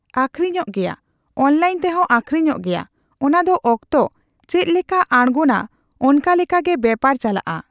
ᱟᱠᱷᱨᱤᱧᱚᱜ ᱜᱮᱭᱟ ᱾ ᱚᱱᱞᱟᱭᱤᱱ ᱛᱮᱦᱚᱸ ᱟᱠᱷᱨᱤᱧᱚᱜ ᱜᱮᱭᱟ ᱾ ᱚᱱᱟ ᱫᱚ ᱚᱠᱛᱚ ᱪᱮᱫ ᱞᱮᱠᱟ ᱟᱬᱜᱚᱱᱟ ᱚᱱᱠᱟᱞᱮᱠᱟ ᱜᱮ ᱵᱮᱯᱟᱨ ᱪᱟᱞᱟᱜᱼᱟ ᱾